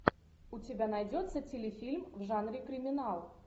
у тебя найдется телефильм в жанре криминал